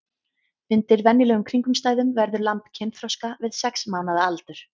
Undir venjulegum kringumstæðum verður lamb kynþroska við sex mánaða aldur.